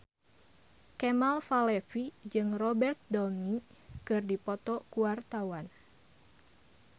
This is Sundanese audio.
Kemal Palevi jeung Robert Downey keur dipoto ku wartawan